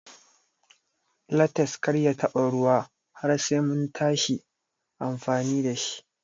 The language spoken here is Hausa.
Lates Kar ya taɓa ruwa har Sai muntashi amfani dashi.